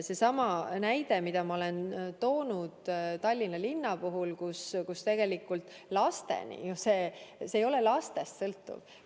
Seesama näide, mida ma olen toonud Tallinna puhul, kus tegelikult ei ole laste sõltuv.